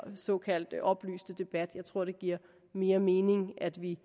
såkaldt oplyste debat jeg tror det giver mere mening at vi